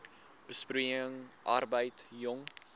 besproeiing arbeid jong